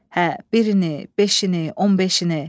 Hə, birini, beşini, 15-ini.